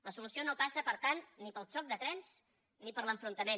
la solució no passa per tant ni pel xoc de trens ni per l’enfrontament